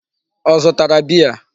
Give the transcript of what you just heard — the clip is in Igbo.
Ọ zụtara beer?